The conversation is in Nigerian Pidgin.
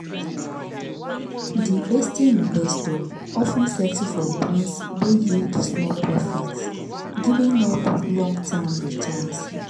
di hasty investor of ten settle for bonds wey yield small profit giving up long-term returns.